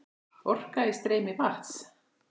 Orka í streymi vatns.